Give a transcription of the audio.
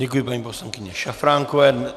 Děkuji paní poslankyni Šafránkové.